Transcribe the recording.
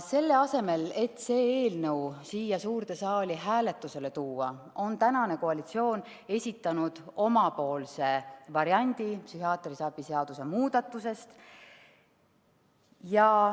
Selle asemel, et see eelnõu siia suurde saali hääletusele tuua, on praegune koalitsioon esitanud oma variandi psühhiaatrilise abi seaduse muudatusest.